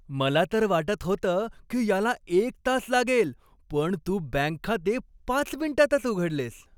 मला तर वाटत होतं की याला एक तास लागेल पण तू बँक खाते पाच मिनिटांतच उघडलेस.